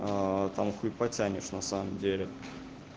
там хуй потянешь на самом деле